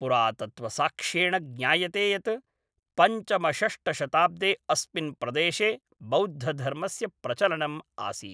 पुरातत्त्वसाक्ष्येण ज्ञायते यत् पञ्चमषष्ठशताब्दे अस्मिन् प्रदेशे बौद्धधर्मस्य प्रचलनम् आसीत्।